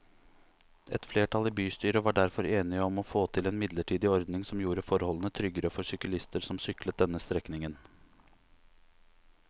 Et flertall i bystyret var derfor enig om å få til en midlertidig ordning som gjorde forholdene tryggere for syklister som syklet denne strekningen.